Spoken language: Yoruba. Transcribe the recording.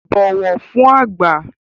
Bọ̀wọ̀ fún àgbà!